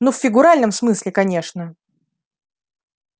ну в фигуральном смысле конечно